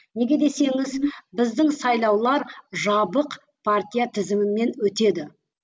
неге десеңіз біздің сайлаулар жабық партия тізімімен өтеді